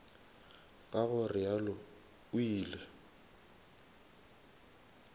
ka go realo o ile